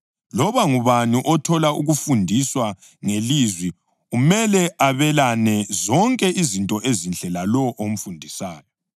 Loba ngubani othola ukufundiswa ngelizwi umele abelane zonke izinto ezinhle lalowo omfundisayo.